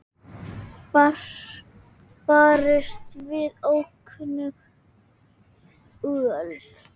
Barist við ókunn öfl